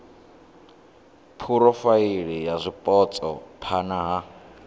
phurofaili ya zwipotso phana ha